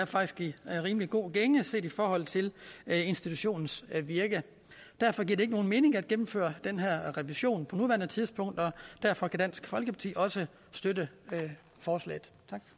faktisk er i rimelig god gænge set i forhold til institutionens virke derfor giver det ikke nogen mening at gennemføre den her revision på nuværende tidspunkt og derfor kan dansk folkeparti også støtte forslaget